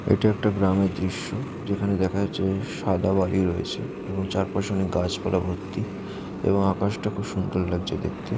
এটা একটা গ্রামের দৃশ্য যেখানে দেখা যাচ্ছে সাদা বালি রয়েছে | এবং চার পাশে অনেক গাছপালা ভর্তি এবং আকাশটা খুব সুন্দর লাগছে দেখতে |